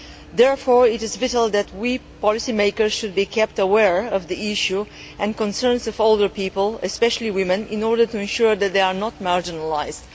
Therefore, it is vital that we policy makers should be kept aware of the issue and the concerns of older people especially women in order to ensure that they are not marginalised.